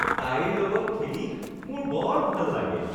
তাইৰ লগত খেলি মোৰ বৰ ভাল লাগে